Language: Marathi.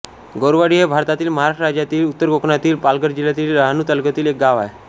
गौरवाडी हे भारतातील महाराष्ट्र राज्यातील उत्तर कोकणातील पालघर जिल्ह्यातील डहाणू तालुक्यातील एक गाव आहे